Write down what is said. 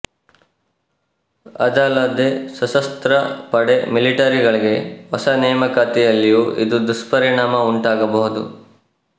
ಅದಲ್ಲದೇ ಸಶಸ್ತ್ರ ಪಡೆ ಮಿಲಿಟರಿಗಳಿಗೆ ಹೊಸ ನೇಮಕಾತಿಯಲ್ಲಿಯೂ ಇದು ದುಷ್ಪರಿಣಾಮ ಉಂಟಾಗಬಹುದು